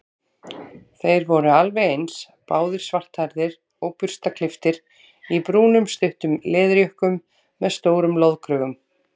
Þeir voru alveg eins, báðir svarthærðir og burstaklipptir í brúnum stuttum leðurjökkum með stórum loðkrögum.